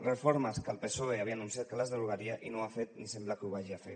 reformes que el psoe havia anunciat que les derogaria i no ho ha fet ni sembla que ho hagi de fer